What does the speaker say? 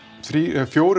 fjórir